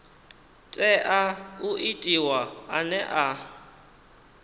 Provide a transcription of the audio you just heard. tea u itiwa ane a